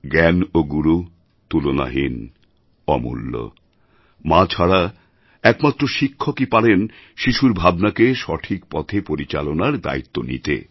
জ্ঞান ও গুরু তুলনাহীন অমূল্য মা ছাড়া একমাত্র শিক্ষকই পারেন শিশুর ভাবনাকে সঠিক পথে পরিচালনার দায়িত্ব নিতে